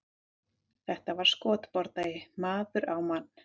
Þetta var skotbardagi, maður á mann.